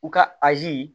U ka azi